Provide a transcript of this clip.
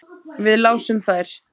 Við lásum þær.